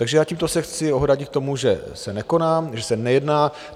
Takže já tímto se chci ohradit k tomu, že se nekoná, že se nejedná.